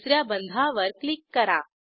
तिस या बंधावर क्लिक करा